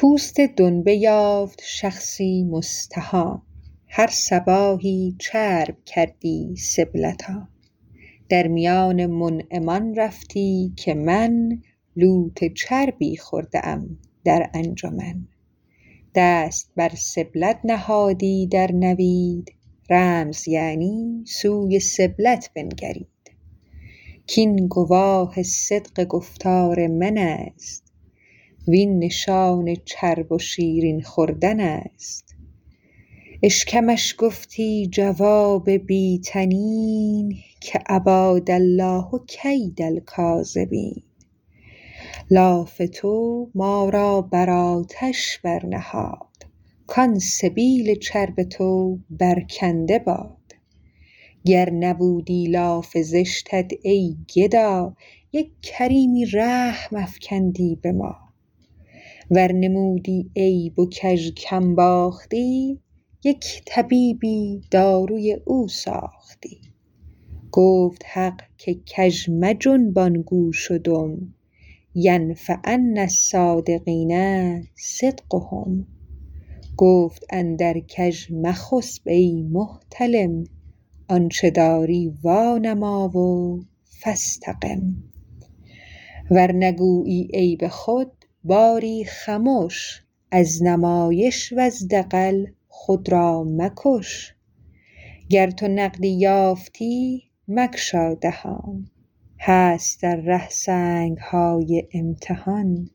پوست دنبه یافت شخصی مستهان هر صباحی چرب کردی سبلتان در میان منعمان رفتی که من لوت چربی خورده ام در انجمن دست بر سبلت نهادی در نوید رمز یعنی سوی سبلت بنگرید کین گواه صدق گفتار منست وین نشان چرب و شیرین خوردنست اشکمش گفتی جواب بی طنین که اباد الله کید الکاذبین لاف تو ما را بر آتش بر نهاد کان سبال چرب تو بر کنده باد گر نبودی لاف زشتت ای گدا یک کریمی رحم افکندی به ما ور نمودی عیب و کژ کم باختی یک طبیبی داروی او ساختی گفت حق که کژ مجنبان گوش و دم ینفعن الصادقین صدقهم گفت اندر کژ مخسپ ای محتلم آنچ داری وا نما و فاستقم ور نگویی عیب خود باری خمش از نمایش وز دغل خود را مکش گر تو نقدی یافتی مگشا دهان هست در ره سنگهای امتحان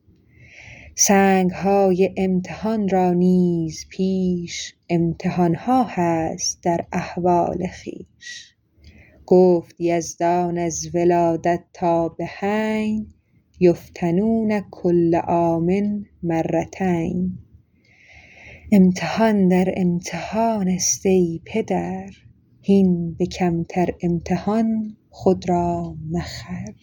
سنگهای امتحان را نیز پیش امتحانها هست در احوال خویش گفت یزدان از ولادت تا بحین یفتنون کل عام مرتین امتحان در امتحانست ای پدر هین به کمتر امتحان خود را مخر